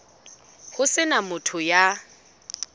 ho se na motho ya